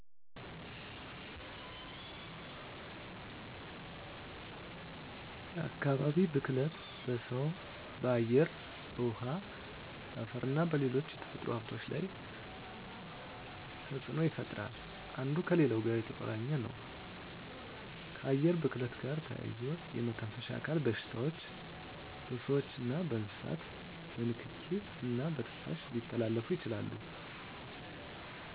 የአካባቢ ብክለት በሰው በአየር በውሀ በአፈርና በሌሎች የተፈጥሮ ሀብቶች ላይ ተፅኖ ይፈጥራሉ አንዱ ከሌላው ጋር የተቆራኘ ነው ከአየር ብክለት ጋር ተያይዞ የመተንፈሻ አካል በሽታዎች በስዎችና በእንስሳት በንኪኪ እና በትንፋሽ ሊተላለፉ ይችላሉ